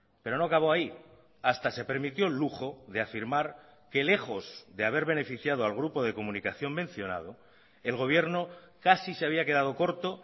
pero no acabó ahí hasta se permitió el lujo de afirmar que lejos de haber beneficiado al grupo de comunicación mencionado el gobierno casi se había quedado corto